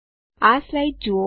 આ સ્લાઇડ જુઓ